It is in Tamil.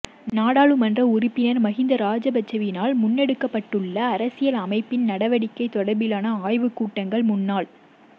நாடாளுமன்ற உறுப்பினர் மஹிந்த ராஜபக்சவினால் முன்னெடுக்கப்படவுள்ள அரசியல் அமைப்பின் நடவடிக்கை தொடர்பிலான ஆய்வு கூட்டங்கள் முன்னாள்